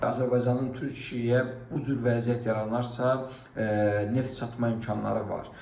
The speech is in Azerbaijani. Azərbaycanın Türkiyəyə bu cür vəziyyət yaranarsa, neft satma imkanları var.